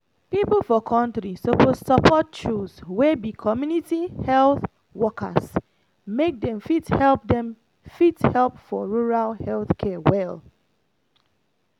people for country suppose support choose (community health workers) make dem fit help dem fit help for rural health care well.